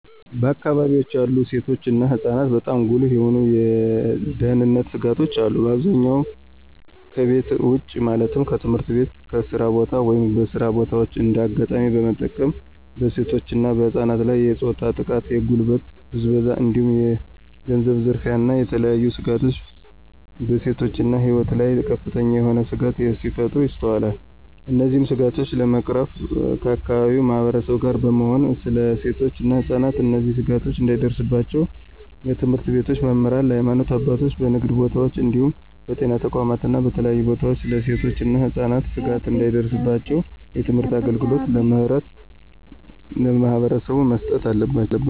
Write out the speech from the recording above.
በአከባቢወች ያሉ ሴቶች እና ህፃናትበጣም ጉልህ የሆኑ የደህንነት ስጋቶች አሉ። በአብዛኛው ከቤት ውጭ ማለትም ከትምህርት ቤት፣ ከስራ ቦታ፣ ወይም በስራ በታዎች እንደ አጋጣሚ በመጠቀም በሴቶች እና በህፃናት ላይ የፆታዊ ጥቃት፣ የጉልበት ብዝበዛ እንዲሁም የገንዘብ ዝርፊያ እና የተለያዬ ስጋቶች በሴቶች እና ህፃናት ላይ ከፍተኛ የሆነ ስጋቶች ሲፈጠሩ ይስተዋላል። እነዚህን ስጋቶች ለመቅረፍ ከአከባቢው ማህበረሰብ ጋር በመሆን ስለ ሴቶች እና ህፃናት እነዚህ ስጋቶች እንዳይደርስባቸው ለትምህርት ቤቶች መምህራን፣ ለሀይማኖት አባቶች፣ በንግድ ቦታወች እንዲሁም በጤና ተቋማት እና በተለያዩ ቦታወች ስለ ሴቶች እና ህፃናት ስጋት እንዳይደርስባቸው የትምህርት አገልግሎት ለማህበረሰቡ መስጠት አለባቸው።